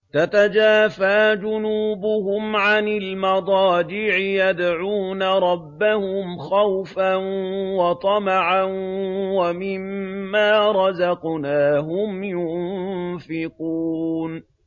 تَتَجَافَىٰ جُنُوبُهُمْ عَنِ الْمَضَاجِعِ يَدْعُونَ رَبَّهُمْ خَوْفًا وَطَمَعًا وَمِمَّا رَزَقْنَاهُمْ يُنفِقُونَ